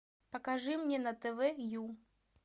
покажи мне на тв ю